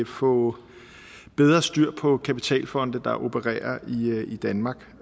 få bedre styr på kapitalfonde der opererer i danmark